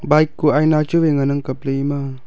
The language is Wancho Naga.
bike kuh aina chu wai ngan ang kapley.